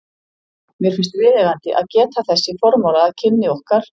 Mér finnst viðeigandi að geta þess í formála að kynni okkar